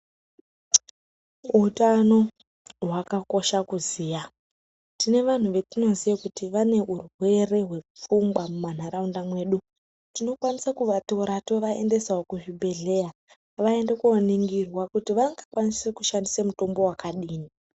Utano hwakakosha kuziya tine vanhu vatinoziya kuti vane urwere hwepfungwa mumanharaunda mwedu tinokwanise kuatora tovaendesawo kuzvibhehleya vaende koningirwa kuti vangakwanise kushandise mutombo wakadini.